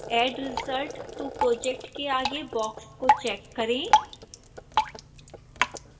add result to project के आगे box को चेक करें